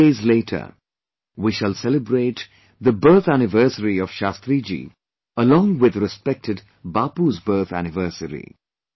Two days later, we shall celebrate the birth anniversary of Shastriji along with respected Bapu's birth anniversary